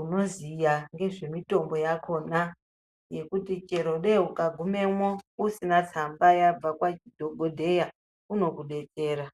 unoziya ngezvemitombo yakona zvekuti chero dei ukagumemwo usina tsamba yabva kwadhokodheya unokudedera.